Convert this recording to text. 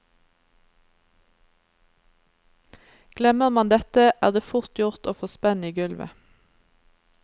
Glemmer man dette, er det fort gjort å få spenn i gulvet.